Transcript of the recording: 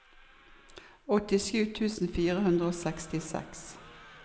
åttisju tusen fire hundre og sekstiseks